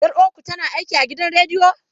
Yar uwarku tana aiki a gidan rediyo?